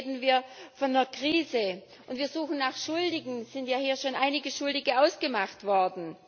Heute reden wir von einer Krise, und wir suchen nach Schuldigen es sind ja hier schon einige Schuldige ausgemacht worden.